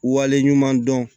Wale ɲuman dɔn